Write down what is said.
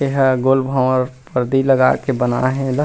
ए ह गोल भावर पारदी लगा के बनाये हे ए ला--